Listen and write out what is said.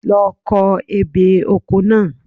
Lọ ko ebè oko náà.